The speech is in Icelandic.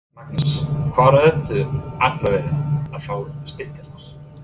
Magnús: Hvaðan ertu aðallega að fá stytturnar?